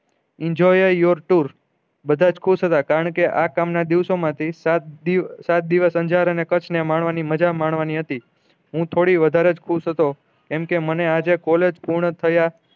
enjoy your tour બધા જ ખુશ હતા કારણ કે આ કામ ના દિવસો માંથી સાત દિવસ અન્જારા ને કચ્છ ને મળવા ની મજા મળવાની હતી હું થોડી વધારે ખુશ હતો કેમ કે મને આજે કોલેજ પૂર્ણ થયા